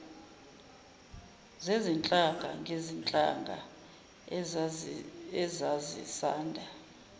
zezinhlanga ngezinhlanga ezazisanda